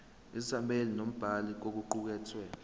isethameli nombhali kokuqukethwe